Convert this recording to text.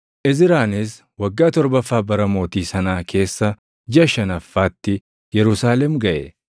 Izraanis waggaa torbaffaa bara mootii sanaa keessa jiʼa shanaffaatti Yerusaalem gaʼe.